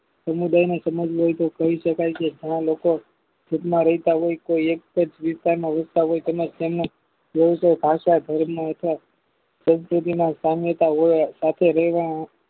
સમુદાયના સમાજ કરી શકાય છે ઘણા લોકો રહેત હોય છે એક જ વિસ્તારના વિકસાવે અને તેમના દેશો ભાસ તથા જાળમાં સંકેતિના સંવત સાથે રહેવા